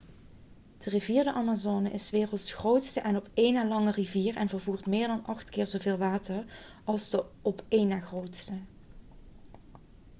de rivier de amazone is s werelds grootste en op een na langste rivier en vervoert meer dan 8 keer zoveel water als de op de een na grootste